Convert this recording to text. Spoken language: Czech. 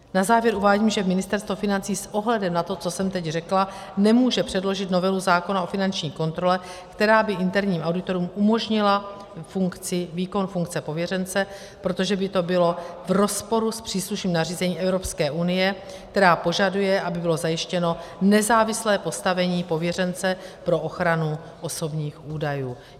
Na závěr uvádím, že Ministerstvo financí s ohledem na to, co jsem teď řekla, nemůže předložit novelu zákona o finanční kontrole, která by interním auditorům umožnila výkon funkce pověřence, protože by to bylo v rozporu s příslušným nařízením Evropské unie, která požaduje, aby bylo zajištěno nezávislé postavení pověřence pro ochranu osobních údajů.